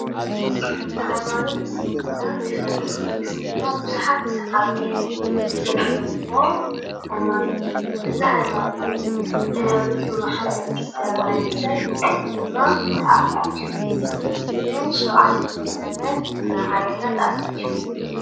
ሃይማኖት እስልምና ድሕሪ ኽርስትና ብዙሓት ሰዓብቲ ዘለዉዎ ሃይማኖት እዩ ።እዚ ሃይማኖት እዚ ብነብዩ መሓመድ ዝተባህለ ሰብ ድማ ተኣታትዩ። ብሻብዓይ ክፍለዘመን ናብ ዓለምና ተኣታትዩ።